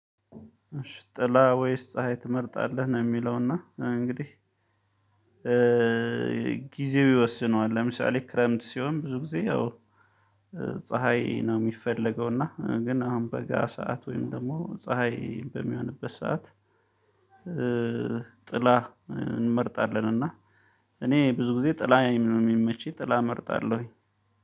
ጥላ ወይስ ፀሀይ ትመርጣለህ? ነው የሚለውና እንግዲህ ጊዜው ይወስነዋል ለምሳሌ ክረምት ሲሆን ብዙ ጊዜ ያው ፀሀይ ነው የሚፈለገው። እና ግን አሁን በጋ ሰዓት ወይም ደግሞ ፀሀይ በሚሆንበት ሰዓት ጥላ እንመርጣለን። እና እኔ ብዙ ጊዜ ጥላ የሚመችኝ ጥላ እመርጣለሁ